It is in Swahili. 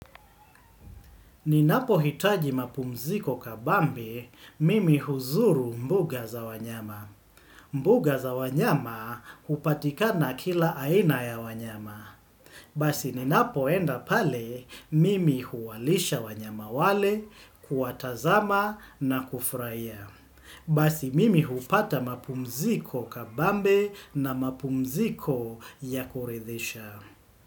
Ninapohitaji mapumziko kabambe, mimi huzuru mbuga za wanyama. Mbuga za wanyama hupatikana kila aina ya wanyama. Basi ninapoenda pale, mimi huwalisha wanyama wale, kuwatazama na kufurahia Basi mimi hupata mapumziko kabambe na mapumziko ya kuridhisha.